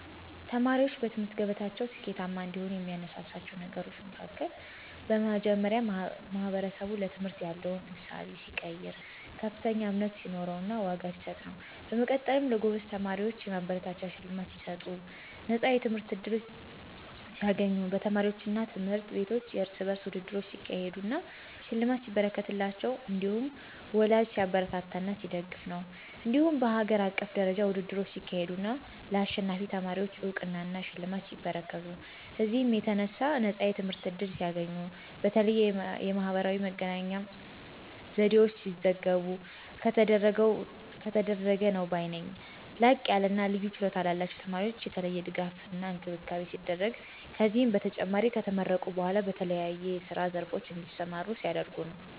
ተማሪዎችን በትምህርት ገበታቸው ስኬታማ እንዲሆኑ የሚያነሳሳቸው ነገሮች መሀከል በመጀመሪያ ማህበረሰቡ ለትምህርት ያለው እሳቤ ሲቀየር፥ ከፍተኛ እምነት ሲኖረውና ዋጋ ሲሰጥ ነው። በመቀጠልም ለጎበዝ ተማሪዎች የማበረታቻ ሽልማት ሲሰጡ፣ ነፃ የትምህርት ዕድል ሲያገኙ፣ በተማሪዎቹ አና ትምህርት ቤቶች የርስ በርስ ውድድሮች ሲያካሄዱ አና ሽልማት ሲበረከትላቸው እንዲሁም ወላጂ ሲያበረታታና ሲደግፍ ነው። እንዲሁም በሀገር አቀፍ ደረጃ ውድድሮች ሲካሄዱ አና ለአሸናፊ ተማሪወች አውቅናና ሽልማቶች ሲበረከቱ፤ በዚህም የተነሣ ነፃ የትምህርት ዕድል ሲያገኙ፣ በተለያየ የማህበራዊ መገናኛ ዘዴወች ሲዘገቡ ከተደረገ ነው ባይ ነኝ። ላቅያለና ልዩ ችሎታ ላላቸው ተማሪወች የተለየ ድጋፍና እንክብካቤ ሲደረግ፤ ከዚህም በተጨማሪ ከተመረቁ በኋላ በተለያዬ የስራ ዘርፎች እንዲሰማሩ ሲደረጉ ነው።